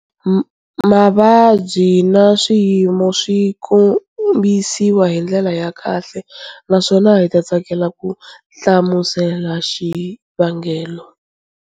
Mavabyi na swiyimo swi kombisiwa hi ndlela ya kahle naswona hi ta tsakela ku hlamusela xivangelo.